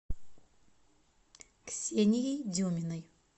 ксенией деминой